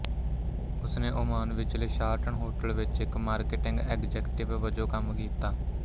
ਉਸ ਨੇ ਓਮਾਨ ਵਿਚਲੇ ਸ਼ਾਰਟਨ ਹੋਟਲ ਵਿੱਚ ਇੱਕ ਮਾਰਕੀਟਿੰਗ ਐਗਜ਼ੈਕਟਿਵ ਵਜੋਂ ਕੰਮ ਕੀਤਾ